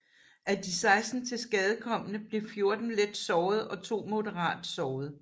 Af de 16 tilskadekomne blev 14 let såret og to moderat såret